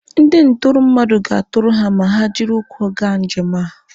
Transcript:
Ndị ntụrụ mmadụ ga-atụrụ ha ma ha jiri ụkwụ gaa njem a